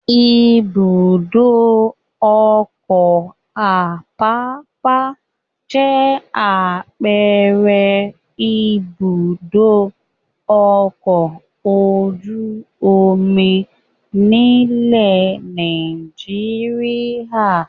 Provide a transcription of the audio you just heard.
Ibùdó-ọkọ̀ Àpápá jẹ́ àpẹẹrẹ Ibùdó-ọkọ̀ ojú-omi nílẹ̀ Nàìjíríà.